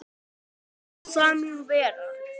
Ég læt það nú vera.